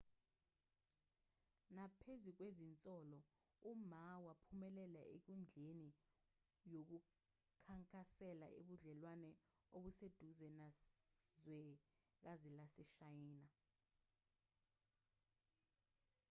naphezu kwezinsolo uma waphumelela enkundleni yokukhankasela ubudlelwane obuseduze nezwekazi laseshayina